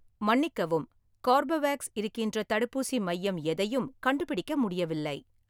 மன்னிக்கவும், கார்பவேக்ஸ் இருக்கின்ற தடுப்பூசி மையம் எதையும் கண்டுபிடிக்க முடியவில்லை